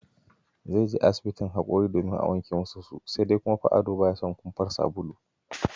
Zai je asibin hakori domin a wanke masa su, sai dai kuma fa Ado ba ya son kumfar sabulu!